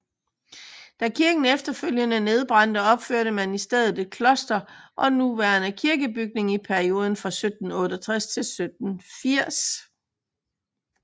Da kirken efterfølgende nedbrændte opførte man i stedet et kloster og nuværende kirkebygning i perioden 1768 til 1780